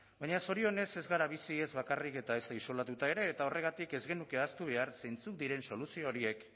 baina zorionez ez gara bizi ez bakarrik eta ezta isolatuta ere eta horregatik ez genuke ahaztu behar zeintzuk diren soluzio horiek